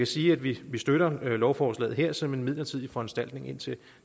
sige at vi støtter lovforslaget her som en midlertidig foranstaltning indtil